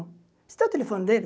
Você tem o telefone dele?